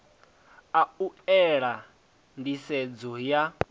a u ela nḓisedzo ya